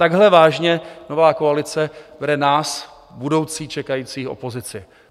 Takhle vážně nová koalice bere nás, budoucí čekající opozici.